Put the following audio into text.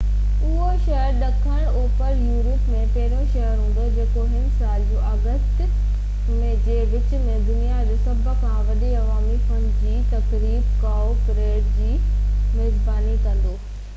اهو شهر ڏکڻ اوڀر يورپ ۾ پهريون شهر هوندو جيڪو هن سال جون ۽ آگسٽ جي وچ ۾ دنيا جو سڀ کان وڏي عوامي فن جي تقريب ڪائو پريڊ جي ميزباني ڪندو